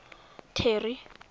terry